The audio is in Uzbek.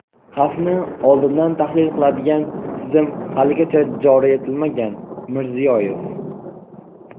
Xavfni oldindan tahlil qiladigan tizim haligacha joriy etilmagan – Mirziyoyev.